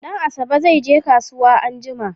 Danasabe zai je kasuwa anjima